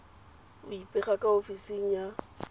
go ipega ka ofising ya